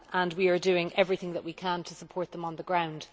We are doing everything that we can to support them on the ground.